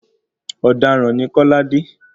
Ọ̀daràn ni Kọ́ládé.